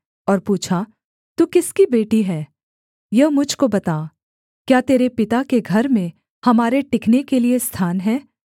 और पूछा तू किसकी बेटी है यह मुझ को बता क्या तेरे पिता के घर में हमारे टिकने के लिये स्थान है